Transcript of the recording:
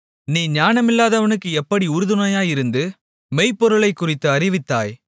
நீ ஞானமில்லாதவனுக்கு எப்படி உறுதுணையாயிருந்து மெய்ப்பொருளைக் குறித்து அறிவித்தாய்